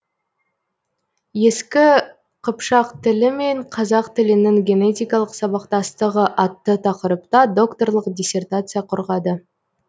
ескі қыпшақ тілі мен қазақ тілінің генетикалық сабақтастығы атты тақырыпта докторлық диссертация қорғады